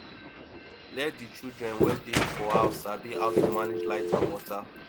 let di children wey dey for house sabi how to manage light and water